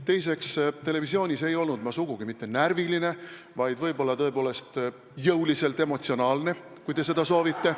Teiseks, televisioonis ei olnud ma sugugi mitte närviline, vaid võib-olla jõuliselt emotsionaalne, kui te nii soovite.